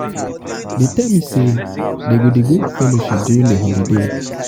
dey tell me say dey go dey go fellowship during the holiday.